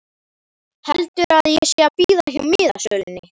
Heldur að ég sé að bíða hjá miðasölunni!